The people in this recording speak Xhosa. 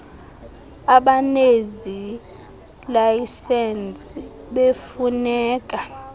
abanezi layisensi befuneka